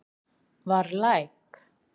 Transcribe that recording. Var læk